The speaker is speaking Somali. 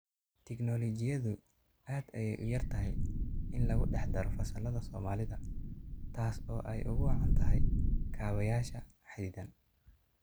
Tiknoolajiyadu aad ayay uyartahay in lagudhexdaro fasallada Soomaalida taas oo ay uguwacan tahay kaabayaasha xaddidan.